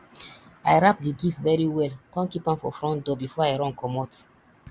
i wrap the gift very well come keep am for front door before i run comot